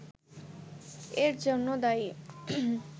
এর জন্য দায়ী